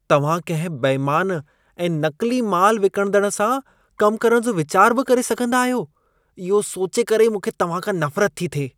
तव्हां कंहिं बेइमान ऐं नक़्ली माल विकिणंदड़ सां कम करण जो विचार बि करे सघंदा आहियो, इहो सोचे करे ई मूंखे तव्हां खां नफरत थी थिए।